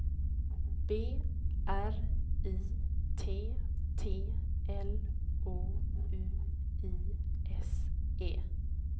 B R I T T L O U I S E